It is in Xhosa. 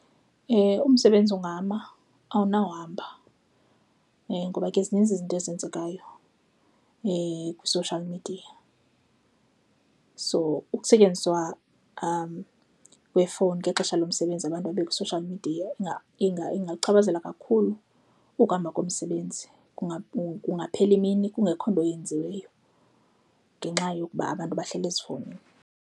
Umsebenzi ungama, awunawo uhamba ngoba ke zininzi izinto ezenzekayo kwi-social media. So ukusetyenziswa kweefowuni ngexesha lomsebenzi abantu babe kwi-social media ingakuchaphazela kakhulu ukuhamba komsebenzi. Kungaphela imini kungekho nto eyenziweyo ngenxa yokuba abantu bahleli ezifowunini.